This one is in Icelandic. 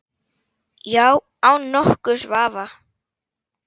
Já, án nokkurs vafa.